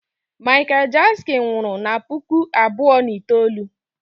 Michael Jackson nwụrụ na puku abụọ na itoolu